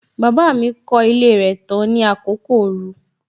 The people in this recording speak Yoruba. Baba mi kọ ilé rẹ tán ní àkókò ooru.